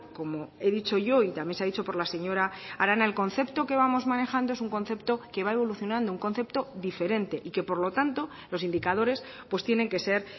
como he dicho yo y también se ha dicho por la señora arana el concepto que vamos manejando es un concepto que va evolucionando un concepto diferente y que por lo tanto los indicadores pues tienen que ser